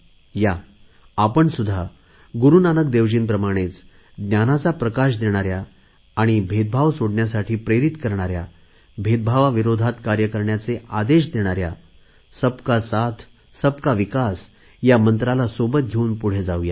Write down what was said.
या आपण सुध्दा गुरुनानक देवजींप्रमाणेच ज्ञानाचा प्रकाश देणाऱ्या आणि भेदभाव सोडण्यासाठी प्रेरित करणाऱ्या भेदभावाविरोधात कार्य करण्याचे आदेश देणाऱ्या सबका साथ सबका विकास या मंत्राला सोबत घेऊन पुढे जाऊ या